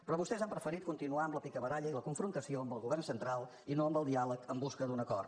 però vostès han preferit continuar amb la picabaralla i la confrontació amb el govern central i no amb el diàleg en busca d’un acord